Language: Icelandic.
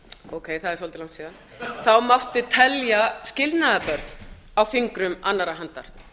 ókei það er svolítið langt síðan þá mátti telja skilnaðarbörn á fingrum annarrar handar